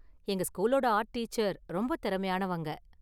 எங்க ஸ்கூலோட art teacher ரொம்ப திறமையானவங்க.